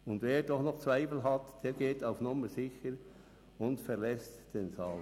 Und wer doch noch Zweifel hegt, der geht auf Nummer sicher und verlässt den Saal.